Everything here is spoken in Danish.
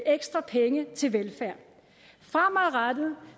ekstra penge til velfærd fremadrettet